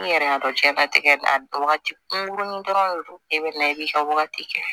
N yɛrɛ y'a dɔn diɲɛnatigɛ a wagati kunkurunin dɔrɔn de bɛ na i ka wagati kɛ